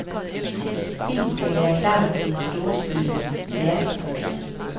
Filmen kan være klar til en storstilet verdenspremiere.